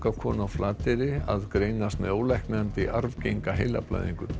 konu á Flateyri að greinast með ólæknandi arfgenga heilablæðingu